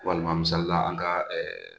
Walima misalila an ka